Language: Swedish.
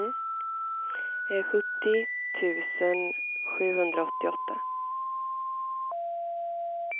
sjuttio tusen sjuhundraåttioåtta